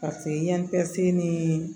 Paseke yan tɛ se ni